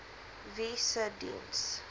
wie se diens